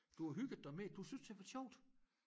Du har hygget dig med det du synes det har været sjovt